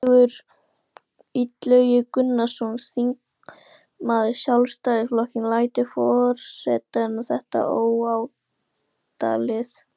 Illugi Gunnarsson, þingmaður Sjálfstæðisflokksins: Lætur forseti þetta óátalið?